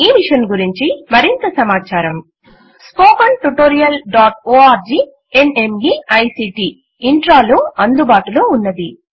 ఈ మిషన్ గురించి మరింత సమాచారము స్పోకెన్ హైఫెన్ tutorialorgన్మీక్ట్ -Intro లో అందుబాటులో ఉన్నది